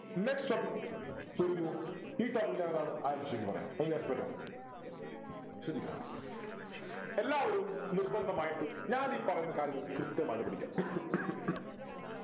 next topic ഒരുങ്ങു ഈ topic പറയാം ശ്രദ്ധിക്ക എല്ലാവരും നിർബന്ധമായിട്ടും ഞാൻ ഈ പറയുന്ന കാര്യങ്ങൾ കൃത്യമായിട്ട് പഠിക്കാ